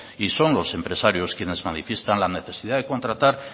y son los empresarios quienes manifiestan la necesidad de contratar